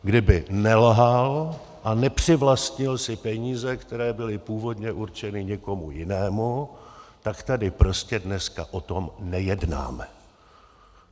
Kdyby nelhal a nepřivlastnil si peníze, které byly původně určeny někomu jinému, tak tady prostě dneska o tom nejednáme.